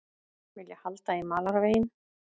Vilja halda í malarveginn